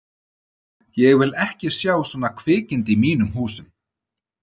Ég vil ekki sjá svona kvikindi í mínum húsum!